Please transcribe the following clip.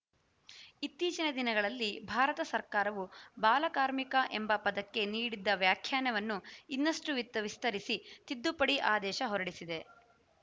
ಇತ್ತೀಚಿನ ದಿನಗಳಲ್ಲಿ ಭಾರತ ಸರ್ಕಾರವು ಬಾಲಕಾರ್ಮಿಕ ಎಂಬ ಪದಕ್ಕೆ ನೀಡಿದ್ದ ವ್ಯಾಖ್ಯಾನವನ್ನು ಇನ್ನಷ್ಟುವಿಸ್ತರಿಸಿ ತಿದ್ದುಪಡಿ ಆದೇಶ ಹೊರಡಿಸಿದೆ